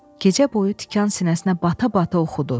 Gecə boyu tikan sinəsinə bata-bata oxudu.